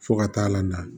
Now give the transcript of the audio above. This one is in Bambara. Fo ka taa la